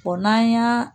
O n'an y'a